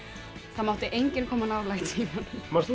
það mátti enginn koma nálægt símanum manst þú